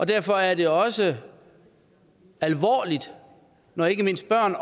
derfor er det også alvorligt når ikke mindst børn